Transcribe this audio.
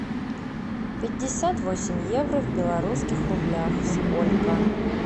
пятьдесят восемь евро в белорусских рублях сколько